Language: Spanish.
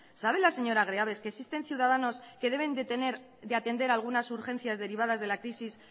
sabe la señora greaves que existen ciudadanos que deben de atender algunas urgencias derivadas de la crisis